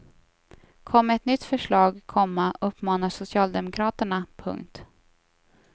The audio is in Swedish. Kom med ett nytt förslag, komma uppmanar socialdemokraterna. punkt